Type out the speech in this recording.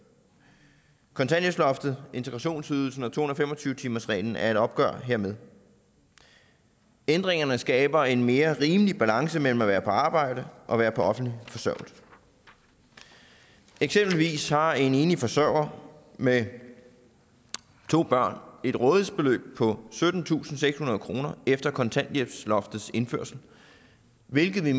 kontanthjælpsloftet integrationsydelsen og to hundrede og fem og tyve timersreglen er et opgør hermed ændringerne skaber en mere rimelig balance mellem at være på arbejde og være på offentlig forsørgelse eksempelvis har en enlig forsørger med to børn et rådighedsbeløb på syttentusinde og sekshundrede kroner efter kontanthjælpsloftets indførelse hvilket vi